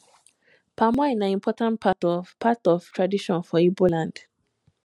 palm wine na important part of part of tradition for ibo land